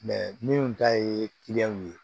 min ta ye kiliyanw ye